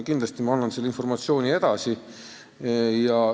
Kindlasti ma annan selle informatsiooni edasi.